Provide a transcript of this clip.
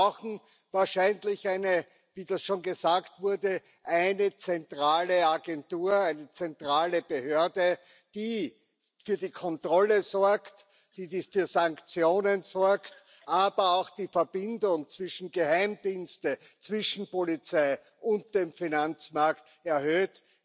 Und wir brauchen wahrscheinlich wie das schon gesagt wurde eine zentrale Agentur, eine zentrale Behörde, die für die Kontrolle und für Sanktionen sorgt, aber auch die Verbindung zwischen Geheimdiensten, Polizei und dem Finanzmarkt erhöht.